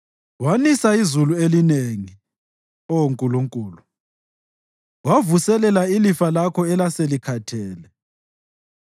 Wanisa izulu elinengi, Oh Nkulunkulu; wavuselela ilifa lakho elaselikhathele.